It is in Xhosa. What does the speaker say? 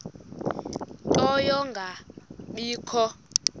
ie nto yokungabikho